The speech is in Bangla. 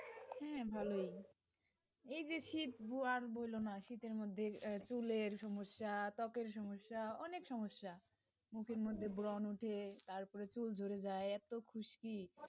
হ্যাঁ ভালোই, এই যে আর বোলো না শীতের মধ্যে চুলের সমস্যা, ত্বকের সমস্যা, অনেক সমস্যা, মুখের মধ্যে ব্রণ ওঠে, তারপরে চুল ঝরে যায় এত খুস্কি.